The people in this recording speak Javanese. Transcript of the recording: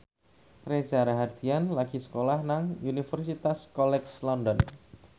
Reza Rahardian lagi sekolah nang Universitas College London